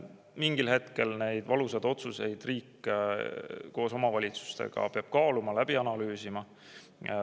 Mingil hetkel peab riik koos omavalitsustega neid valusaid otsuseid kaaluma, läbi analüüsima.